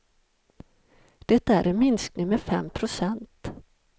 Det är en minskning med fem procent.